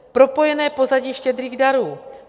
Propojené pozadí štědrých darů.